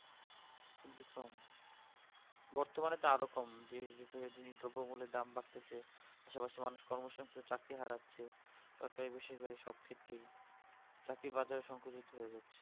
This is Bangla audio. বর্তমানে তো আরো কম যে ড্রোব মুলা দাম বাড়তেছে সবার চাকরি হারাচ্ছে সরকারি বেসরকারি সব ক্ষেত্রেই চাকরির বাজারে সংসা বৃদ্ধি হয়েছে